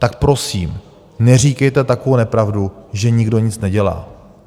Tak prosím, neříkejte takovou nepravdu, že nikdo nic nedělá.